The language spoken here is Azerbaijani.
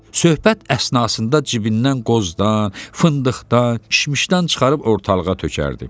Söhbət əsnasında cibindən qozdan, fındıqdan, kişmişdən çıxarıb ortalığa tökərdi.